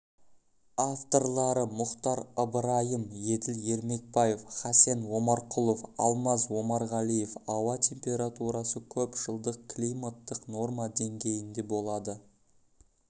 авторлары мұхтар ыбырайым еділ ермекбаев хасен омарқұлов алмаз омарғалиев ауа температурасы көпжылдық климаттық норма деңгейінде болады